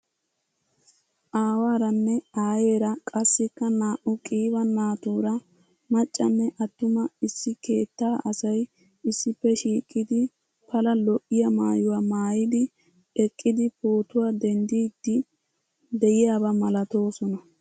Aawaranne aayeera qassikka naa'u qiiba naatuura maccanne attuma issi keettaa asay issippe shiiqidi pala lo'iya maayuwaa maayid eqqidi pootuwa denddid diyabaa malatoosonna..